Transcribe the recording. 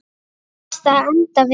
Þú varst að enda við.